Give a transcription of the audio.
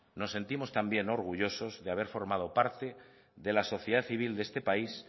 nos sentimos también orgullosos de haber formado parte de la sociedad civil de este país